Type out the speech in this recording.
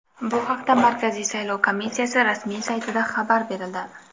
Bu haqda Markaziy saylov komissiyasi rasmiy saytida xabar berildi .